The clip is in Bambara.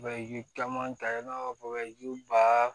Bɛ yiri caman ta i n'a fɔ bɛ ba